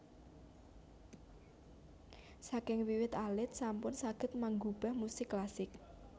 Saking wiwit alit sampun saged manggubah musik klasik